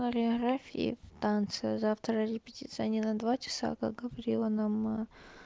хореографии и в танце завтра репетиция не на два часа как говорила нам